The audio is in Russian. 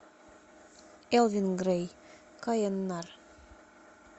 элвин грей каеннар